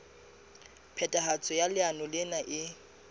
phethahatso ya leano lena e